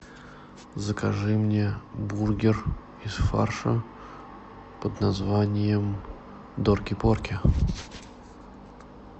закажи мне бургер из фарша под названием дорки порки